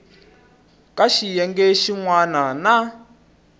ka xiyenge xin wana na